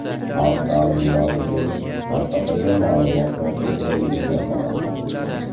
Xalq ta’limi vazirligi tarqatilgan ma’lumot noto‘g‘riligini ma’lum qildi .